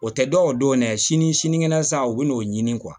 O tɛ dɔw don dɛ sini sinikɛnɛ san u bɛ n'o ɲini